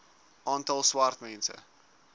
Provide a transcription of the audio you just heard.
aantal swart mense